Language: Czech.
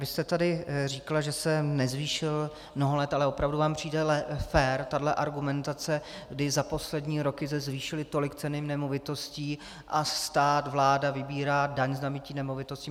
Vy jste tady říkala, že se nezvýšil mnoho let, ale opravdu vám přijde fér tahle argumentace, kdy za poslední roky se zvýšily tolik ceny nemovitostí a stát, vláda, vybírá daň z nabytí nemovitosti?